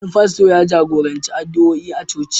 Wani fasto ya jagoranci addu'oi a coci.